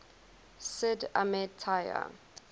sid ahmed taya